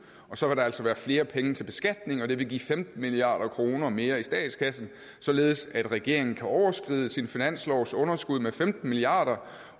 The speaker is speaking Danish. og så vil der altså være flere penge til beskatning og det vil give femten milliard kroner mere i statskassen således at regeringen kan overskride sin finanslovs underskud med femten milliard